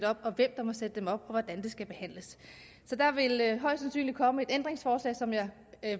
op og hvem der må sætte dem op og hvordan det skal behandles så der vil højst sandsynligt komme et ændringsforslag som jeg